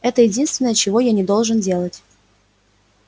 это единственное чего я не должен делать